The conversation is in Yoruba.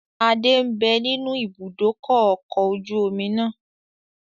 Adé ń bẹ nínú ibùdókọ̀ ọkọ̀ ojú omi náà